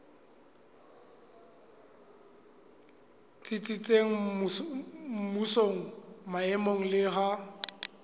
tsitsitseng mmusong maemong le ha